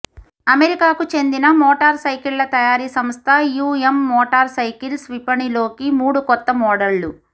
అమెరికాకు చెందిన మోటార్ సైకిళ్ల తయారీ సంస్థ యుఎమ్ మోటార్ సైకిల్స్ విపణిలోకి మూడు కొత్త మోడళ